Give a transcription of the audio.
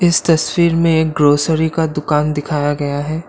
इस तस्वीर में एक ग्रोसरी का दुकान दिखाया गया है।